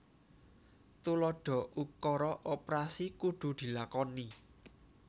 Tuladha ukara oprasi kudu dilakoni